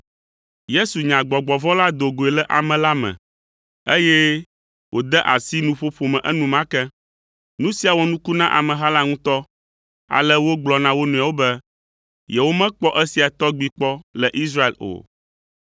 Yesu nya gbɔgbɔ vɔ̃ la do goe le ame la me, eye wòde asi nuƒoƒo me enumake. Nu sia wɔ nuku na ameha la ŋutɔ, ale wogblɔ na wo nɔewo be, yewomekpɔ esia tɔgbi kpɔ le Israel o.